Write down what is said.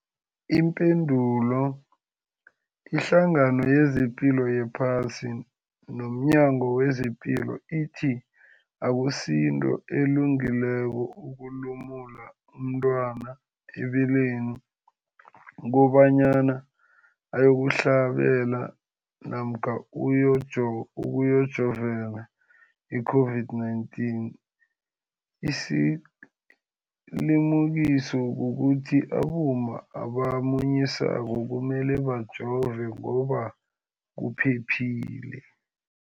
Ipendulo, iHlangano yezePilo yePhasi nomNyango wezePilo ithi akusinto elungileko ukulumula umntwana ebeleni kobanyana uyokuhlabela namkha uyokujovela i-COVID-19. Isilimukiso kukuthi abomma abamunyisako kumele bajove ngoba kuphephile.